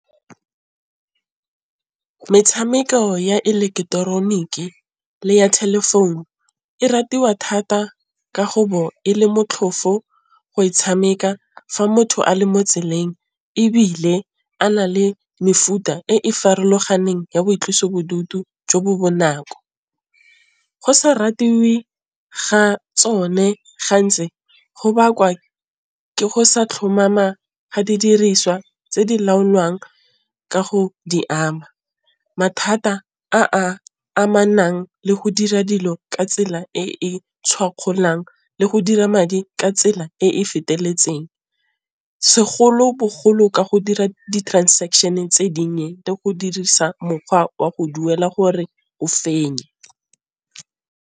Metshameko ya ileketeroniki le ya telephone e ratiwa thata ka go bo e le motlhofo go e tshameka, fa motho a le mo tseleng ebile a na le mefuta e e farologaneng ya boitlosobodutu jo bo bonako. Go sa ratiwe ga tsone gantsi go bakwa ke go sa tlhomama ga didiriswa tse di laolwang ka go di ama mathata a a amanang le go dira dilo ka tsela e tshwakgolang le go dira madi ka tsela e e feteletseng segolobogolo ka go dira di-transaction-e tse di nnye le go dirisa mokgwa wa go duela gore o fenye.